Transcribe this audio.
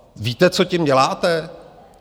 Víte, co tím děláte?